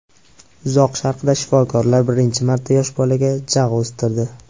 Uzoq Sharqda shifokorlar birinchi marta yosh bolaga jag‘ o‘stirdi.